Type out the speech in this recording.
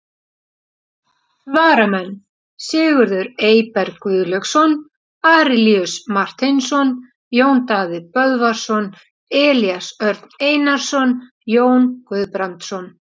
Varamenn: Sigurður Eyberg Guðlaugsson, Arilíus Marteinsson, Jón Daði Böðvarsson, Elías Örn Einarsson, Jón Guðbrandsson.